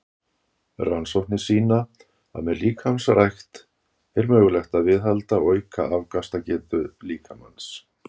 Rannsóknir sýna að með líkamsrækt er mögulegt að viðhalda og auka afkastagetu líkamans.